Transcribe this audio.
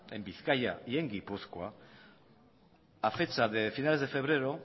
en bizkaia y en gipuzkoa a fecha de finales de febrero